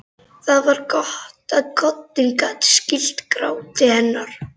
Það var gott að koddinn gat skýlt gráti hennar.